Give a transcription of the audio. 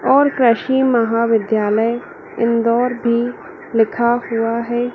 और कृषि महाविद्यालय इंदौर भी लिखा हुआ है।